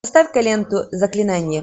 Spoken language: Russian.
поставь ка ленту заклинание